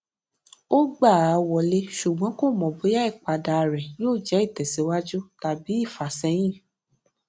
ó gbà á wọlé ṣùgbọn kò mò bóyá ìpadà ré yóò jé ìtèsíwájú tàbí ìfàsẹyìn